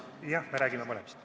Jah, me räägime mõlemast.